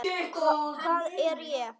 Hvað er ég?